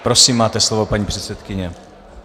Prosím máte slovo, paní předsedkyně.